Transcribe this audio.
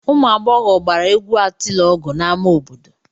Ụmụ agbọghọ gbara egwu atịlọgụ n'ámá obodo.